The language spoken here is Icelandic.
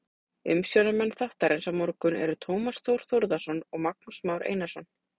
Umsjónarmenn þáttarins á morgun eru Tómas Þór Þórðarson og Magnús Már Einarsson.